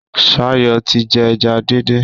Shayo tí jé eja dín dín.